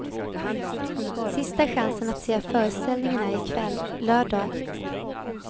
Sista chansen att se föreställningen är ikväll, lördag.